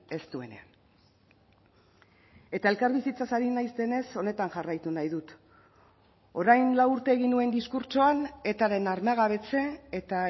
ez duenean eta elkarbizitzaz ari naizenez honetan jarraitu nahi dut orain lau urte egin nuen diskurtsoan etaren armagabetze eta